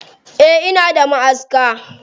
Eh ina da maʼaska.